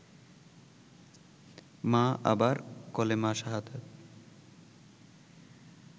মা আবার–কলেমা শাহাদাৎ